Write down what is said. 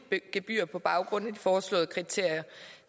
gebyr på baggrund af de foreslåede kriterier